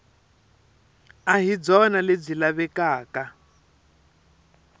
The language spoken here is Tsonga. a hi byona lebyi lavekaka